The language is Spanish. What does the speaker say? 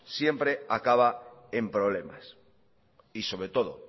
siempre acaba en problemas y sobre todo